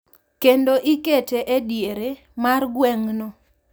Kendo ikete e diere mar gweng’no,